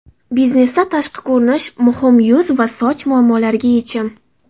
Biznesda tashqi ko‘rinish muhim yuz va soch muammolariga yechim!.